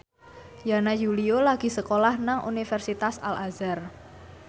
Yana Julio lagi sekolah nang Universitas Al Azhar